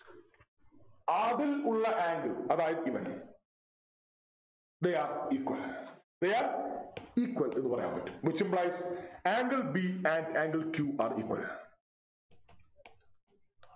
അതിൽ ഉള്ള angle അതായത് ഇവൻ They are equal they are equal എന്ന് പറയാൻ പറ്റും which Implies Angle b and angle q are equal